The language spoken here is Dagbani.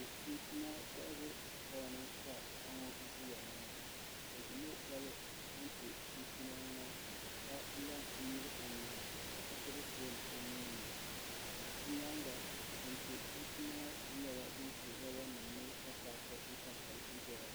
Niɛma kohabu stoo ni ka paɣa ŋo ʒiya ŋo o ʒimi jɛli kɛntɛ chinchina ŋo ka la n nyili o nyina ka gbubi foon o nuuni o nyaanga kɛntɛ chinchina ŋo ku nyɛla din su roba nim ni ka paaki n pa tabi n doya